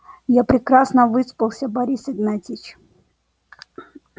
я прекрасно выспался борис игнатьевич